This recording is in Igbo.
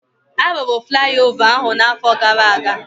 Arụrụ flaiova ahụ na afọ gara aga